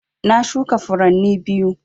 Na shuka furanni biyu